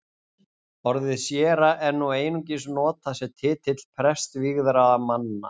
Orðið séra er nú einungis notað sem titill prestvígðra manna.